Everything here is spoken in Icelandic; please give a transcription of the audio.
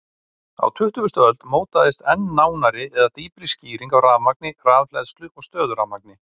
Á tuttugustu öld mótaðist enn nánari eða dýpri skýring á rafmagni, rafhleðslu og stöðurafmagni.